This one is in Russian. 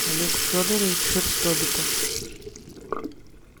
олег федорович шерстобитов